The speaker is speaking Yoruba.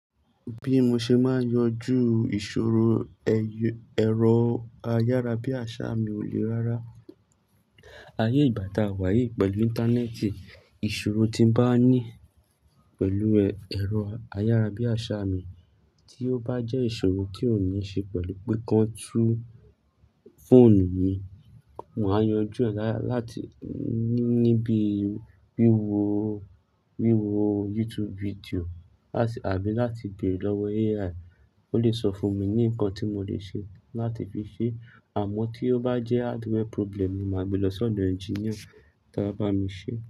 Bí mo ṣe máa yanjú ìṣòro ẹ̀rọ ayárabíàṣá mi ò le rárá. Ayé ìgbà tá wà yìí pẹ̀lú íńtánẹ́ẹ̀tì, ìṣòro tí mo bá ní pẹ̀lú ẹ̀rọ ayárabíàṣá mi tí ó bá jẹ́ ìṣòro tí ó ní ṣe pẹ̀lú pe kan tu fóònù mi, màá yanjú ẹ̀ lára láti níbi wíwo YouTube fídíò àbí láti béèrè lọ́wọ AI, ó lè sọ fún mi ní nǹkan tí mo lè ṣe láti fi ṣe. Àmọ́ tí ó bá jẹ́ hardware problem, màá gbe lọ sọ́dọ̀ ẹnginíà tí ó bá mi ṣe.